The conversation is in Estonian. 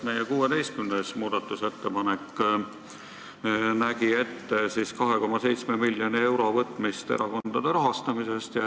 Meie 16. muudatusettepanek nägi ette 2,7 miljoni euro võtmist erakondadelt.